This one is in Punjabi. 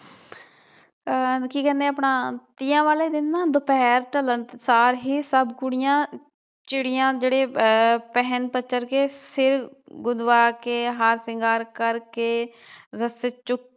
ਆਹ ਕੀ ਕਹਿਣੇ ਆਪਣਾ ਆ ਤੀਆਂ ਵਾਲੇ ਦਿਨ ਨਾ ਦੁਪਹਿਰ ਢਲਣ ਤੋਂ ਸਾਰ ਹੀ ਸਭ ਕੁੜੀਆਂ, ਚਿੜੀਆਂ ਜਿਹੜੇ ਆਹ ਪਹਿਣ ਪਚਰ ਕੇ ਸਿਰ ਗੁੰਦਵਾਂ ਕੇ, ਹਾਰ ਸ਼ਿੰਗਾਰ ਕਰਕੇ ਰਸਤੇ ਚ